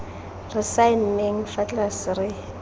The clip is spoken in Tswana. re saenneng fa tlase re